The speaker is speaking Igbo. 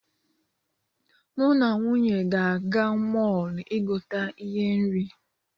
Mụ na nwunye ga-aga mọọlụ igote ihe nri.